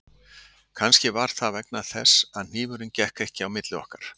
Kannski var það vegna þess að hnífurinn gekk ekki milli okkar